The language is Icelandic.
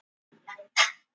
Alveg hundrað prósent.